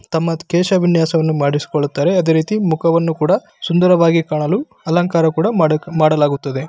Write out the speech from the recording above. ತಮ್ಮ ಕೇಶ ವಿನ್ಯಾಸವನ್ನ ಮಾಡಿಸಿಕೊಳ್ಳುತ್ತಾರೆ ಅದೆ ರೀತಿ ಮುಖವನ್ನು ಕೂಡ ಸುಂದರವಾಗಿ ಕಾಣಲು ಅಲಂಕಾರ ಕೂಡ ಮಾಡಿ ಮಾಡಲಾಗುತ್ತದೆ.